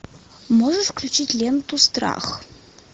можешь включить ленту страх